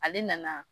Ale nana